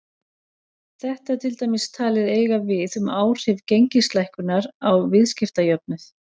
Þetta er til dæmis talið eiga við um áhrif gengislækkunar á viðskiptajöfnuð.